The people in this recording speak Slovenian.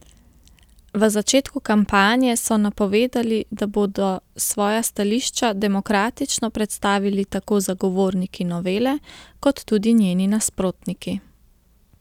V začetku kampanje so napovedali, da bodo svoja stališča demokratično predstavili tako zagovorniki novele, kot tudi njeni nasprotniki.